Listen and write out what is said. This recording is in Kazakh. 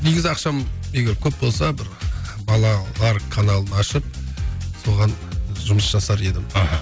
негізі ақшам егер көп болса бір балалар каналын ашып соған жұмыс жасар едім аха